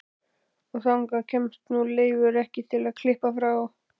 Og þangað kemst nú Leifur ekki til að klippa frá.